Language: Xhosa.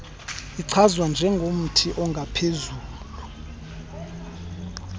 ichazwa njengomthi ongaphezu